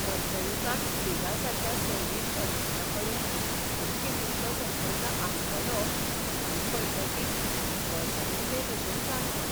मध्ययुगांत प्लेगासारक्या सैमीक अरिश्टांकडेन धूमकेतूंचो संबंद आसतालो हें कळटकीच गळसणिल्लेभशेन जालें हांव.